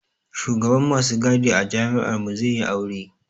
Shugaban masu gadi a jami'ar mu zai yi aure